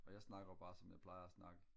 og jeg snakker jo bare som jeg plejer at snakke